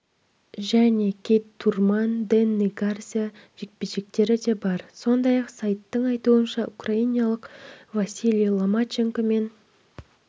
және кит турман дэнни гарсия жекпе-жектері де бар сондай-ақ сайттың айтуынша украиналық василий ломаченко мен